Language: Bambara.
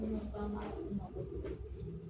mako